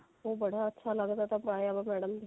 ਉਹ ਬੜਾ ਅੱਛਾ ਲੱਗਦਾ ਪਾਇਆ ਹੋਇਆ madam ਦੇ